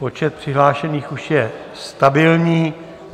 Počet přihlášených už je stabilní.